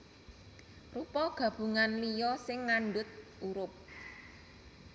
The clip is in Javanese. Rupa gabungan liya sing ngandhut hurup